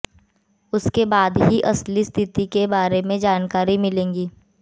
उसके बाद ही असली स्थिति के बारे में जानकारी मिलेगी